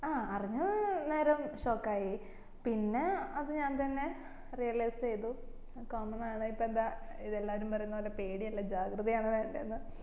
ആ അറിഞ്ഞ നേരം shock ആയി പിന്നെ അത്ഞാൻ തന്നെ realise ചെയ്തു common ആണ് ഇപ്പോ എന്താ ഇതെല്ലാരും പറയുന്ന പോലെ പേടി അല്ല ജാഗ്രത ആണ് വേണ്ടേയെന്ന്